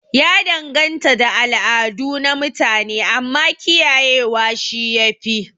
Ya danganta da al'adu na mutune, amma kiyaye wa shi yafi